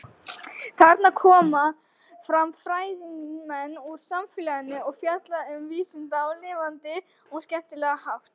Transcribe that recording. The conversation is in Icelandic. Þarna koma fram fræðimenn úr samfélaginu og fjalla um vísindin á lifandi og skemmtilega hátt.